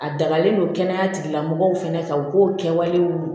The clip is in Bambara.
A dagalen don kɛnɛyatigilamɔgɔw fɛnɛ kan u k'o kɛwalew